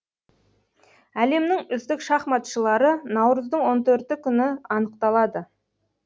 әлемнің үздік шахматшылары наурыздың оң төртінші күні анықталады